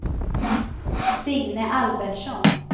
Signe Albertsson